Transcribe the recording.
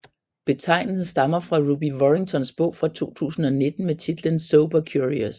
Betegnelsen stammer fra Ruby Warringtons bog fra 2019 med titlen Sober Curious